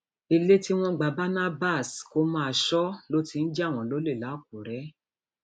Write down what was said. ilé tí wọn gba barnabas kó máa sọ ló ti ń jà wọn lólè làkúrè